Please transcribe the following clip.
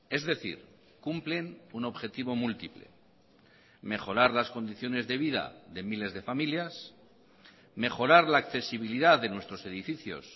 es decir cumplen un objetivo múltiple mejorar las condiciones de vida de miles de familias mejorar la accesibilidad de nuestros edificios